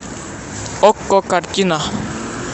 окко картина